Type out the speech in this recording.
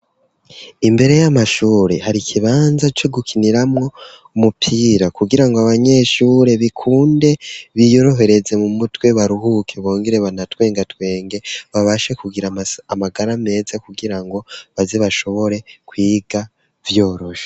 Imbere y'amashure hari ikibanza co gukiniramwo umupira kugirango abanyeshure bikunde biyorohereze mu mutwe baruhuke bongere banatwengatwenge babashe kugira amagara meza kugirango baze bashobore kwiga vyoroshe.